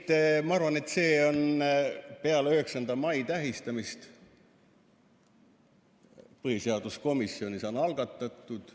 Nii et ma arvan, et see on peale 9. mai tähistamist põhiseaduskomisjonis algatatud.